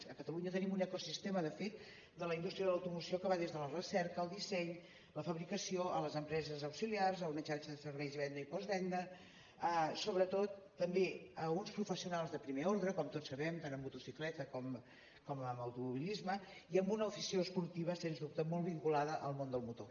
a catalunya tenim un ecosistema de fet de la indústria de l’automoció que va des de la recerca el disseny la fabricació a les empreses auxiliars a una xarxa de serveis i venda i postvenda sobretot també a uns professionals de primer ordre com tots sabem tant en motocicleta com en automobilisme i amb una afició esportiva sens dubte molt vinculada al món del motor